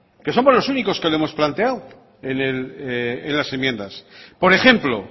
que somos los únicos que lo hemos planteando en las enmiendas por ejemplo